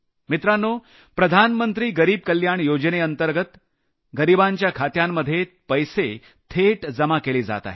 मित्रांनो प्रधानमंत्री गरिब कल्याण योजनेंतर्गत गरिबांच्या खात्यांमध्ये पैसे थेट जमा केले जात आहेत